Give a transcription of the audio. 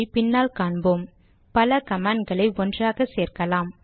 பின்னால் காண்போம் பல கமாண்ட் களை ஒன்றாகவும் சேர்க்கலாம்